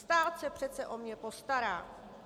Stát se přece o mě postará.